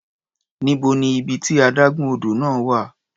Níbo ni ibi tí adágún odò náà wà?